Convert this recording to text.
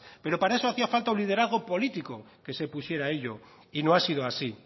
pero para eso hacía falta un liderazgo político que se pusiera a ello y no ha sido así